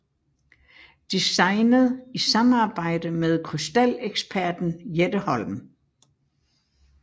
Designet i samarbejde med krystaleksperten Jette Holm